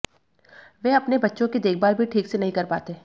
वे अपने बच्चों की देखभाल भी ठीक से नहीं कर पाते